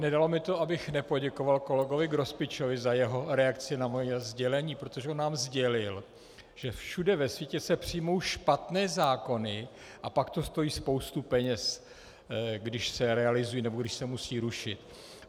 Nedalo mi to, abych nepoděkoval kolegovi Grospičovi za jeho reakci na moje sdělení, protože on nám sdělil, že všude ve světě se přijmou špatné zákony a pak to stojí spoustu peněz, když se realizují nebo když se musí rušit.